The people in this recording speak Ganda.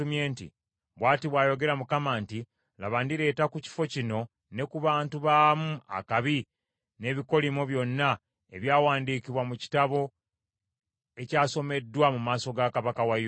bw’ati bw’ayogera Mukama nti, “Laba ndireeta ku kifo kino ne ku bantu baamu akabi, n’ebikolimo byonna ebyawandiikibwa mu kitabo, ekyasomeddwa mu maaso ga kabaka wa Yuda.